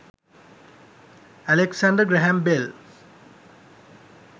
alexander graham bell